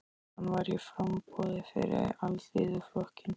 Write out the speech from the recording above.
Hann var í framboði fyrir Alþýðuflokkinn.